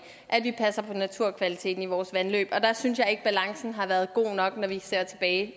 at vi passer på naturkvaliteten i vores vandløb og der synes jeg ikke balancen har været god nok når vi ser tilbage